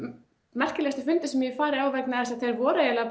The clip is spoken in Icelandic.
merkilegasti fundur sem ég hef farið á vegna þess að þeir voru eiginlega